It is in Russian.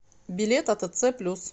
билет атц плюс